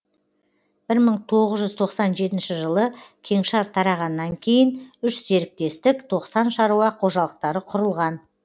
бір мың тоғыз жүз тоқсан жетінші жылы кеңшар тарағаннан кейін үш серіктестік тоқсан шаруа қожалықтары құрылған